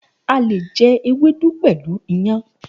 A le jẹ ewédú pẹ̀lú iyàn.